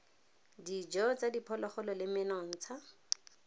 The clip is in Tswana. dijo tsa diphologolo le menontsha